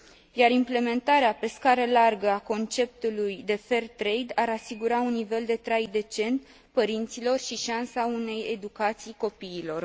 Iar implementarea pe scară largă a conceptului de fair trade ar asigura un nivel de trai decent părinților și șansa unei educații copiilor.